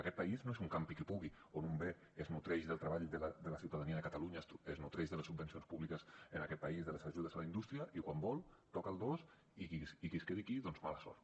aquest país no és un campi qui pugui on un bé es nodreix del treball de la ciutadania de catalunya es nodreix de les subvencions públiques en aquest país de les ajudes a la indústria i quan vol toca el dos i qui es quedi aquí doncs mala sort